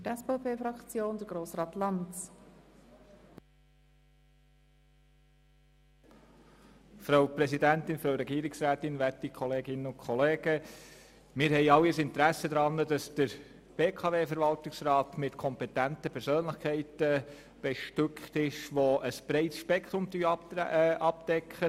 Wir haben alle ein Interesse daran, dass der BKW-Verwaltungsrat mit kompetenten Persönlichkeiten bestückt ist, die ein breites Spektrum abdecken.